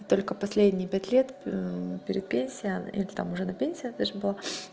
только последние пять лет перед пенсия или там уже на пенсии даже была